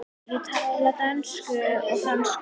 Ég tala dönsku og frönsku.